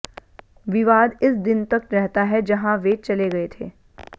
विवाद इस दिन तक रहता है जहां वे चले गए थे